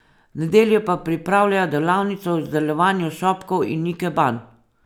V nedeljo pa pripravljajo delavnico o izdelovanju šopkov in ikeban.